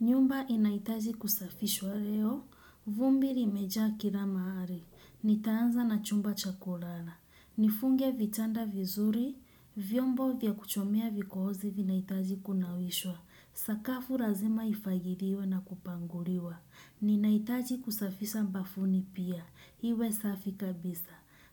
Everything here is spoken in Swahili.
Nyumba inahitaji kusafishwa leo, vumbi limejaa kila mahali, nitaanza na chumba cha kulala, nifunge vitanda vizuri, vyombo vya kuchomea vikohozi vinahitaji kunawishwa, sakafu lazima ifagiliwe na kupanguliwa. Ninahitaji kusafisha bafuni pia, iwe safi kabisa.